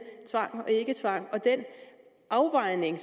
tvang og ikketvang og den afvejning af